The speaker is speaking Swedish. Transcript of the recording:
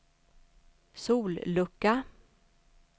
sollucka